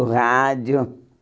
Do rádio.